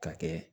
Ka kɛ